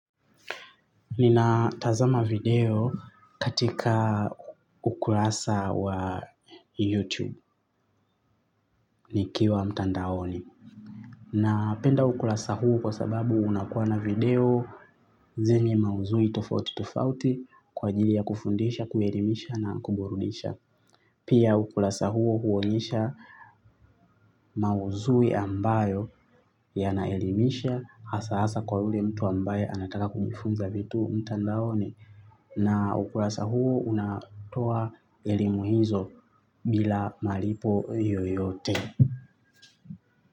Nina tazama video katika ukurasa wa youtube nikiwa mtandaoni. Na penda ukurasa huu kwa sababu unakuwa na video zenye maudhui tofauti tofauti kwa ajili ya kufundisha, kuelimisha na kuburudisha. Pia ukurasa huo huonyesha maudhui ambayo yanaelimisha hasa hasa kwa yule mtu ambaye anataka kujifunza vitu mtandaoni. Na ukurasa huu unatoa elimu hizo bila malipo yoyote.